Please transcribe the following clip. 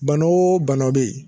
Bana o bana bɛ yen